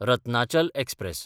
Ratnachal express